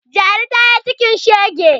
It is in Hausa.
Jaru ta yi cikin shege